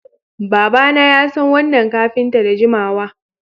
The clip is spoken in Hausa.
Babana yasan wannan kafinta da jimawa